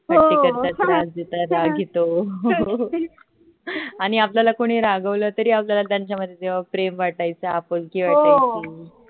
मस्ती करतात त्रास देतात राग येतो आणि आपल्याला कोणी रागावल तरी त्यांच्या मध्ये आपल्याला तेव्हा प्रेम वाटायचं आपुलकी वाटायची